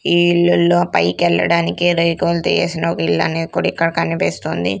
ఈ ఇల్లుల్లో పైకెల్లడానికి రేకుల్ తీయేసిన ఒకిల్లనేది కూడా ఇక్కడ కనిపిస్తుంది.